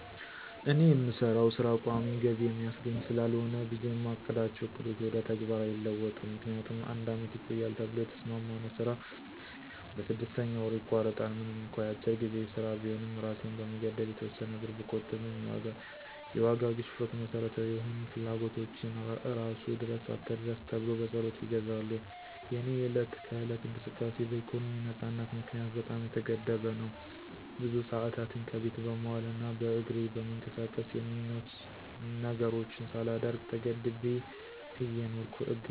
እኔ የምሰራው ሥራ ቋሚ ገቢ የሚያስገኝ ስላልሆነ ብዙ የማቅዳቸው ዕቅዶች ወደ ተግባር አይለወጡም። ምክንያቱም አንድ አመት ይቆያል ተብሎ የተሰማማነው ስራ በስድስተኛ ወሩ ይቋረጣል። ምንም እንኳ የአጭር ጊዜ ሥራ ቢሆንም እራሴን በመገደብ የተወሰነ ብር ብቆጥብም የዋጋ ግሽፈቱ መሠረታዊ የሆኑ ፍላጎቶችን እራሱ ድረስ አትድረስ ተብሎ በፀሎት ይገዛሉ። የእኔ የዕለት ከዕለት እንቅስቃሴ በኢኮኖሚ ነፃነት ምክንያት በጣም የተገደበ ነው። ብዙ ሰአታትን ከቤት በመዋል እና በእግሬ በመንቀሳቀስ የምኞት ነገሮችን ሳላደርግ ተገድቤ እየኖርኩ እገኛለሁ።